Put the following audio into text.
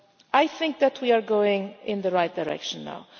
I think that we are going in the right direction now.